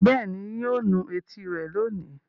Bẹ́ẹ̀ ni, yóò nu etí rẹ̀ lónìí.